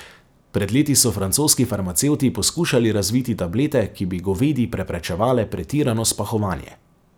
Pred leti so francoski farmacevti poskušali razviti tablete, ki bi govedi preprečevale pretirano spahovanje.